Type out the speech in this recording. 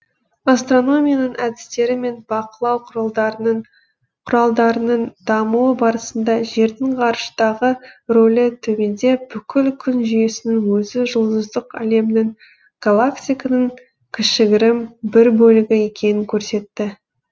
астрономияның әдістері мен бақылау құралдарының дамуы барысында жердің ғарыштағы рөлі төмендеп бүкіл күн жүйесінің өзі жұлдыздық әлемнің галактиканың кішігірім бір бөлігі екенін көрсетті